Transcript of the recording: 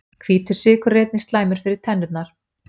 Hvítur sykur er einnig slæmur fyrir tennurnar.